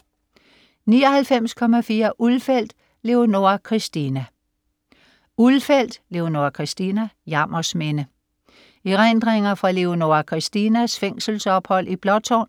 99.4 Ulfeldt, Leonora Christina Ulfeldt, Leonora Christina: Jammers Minde Erindringer fra Leonora Christinas fængselsophold i Blåtårn